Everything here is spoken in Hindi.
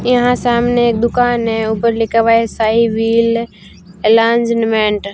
यहां सामने एक दुकान है ऊपर लिखा हुआ है साईं व्हील ऐलांसमेंट ।